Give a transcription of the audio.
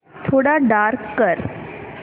थोडा डार्क कर